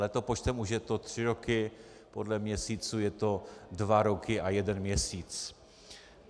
Letopočtem už je to tři roky, podle měsíců jsou to dva roky a jeden měsíc.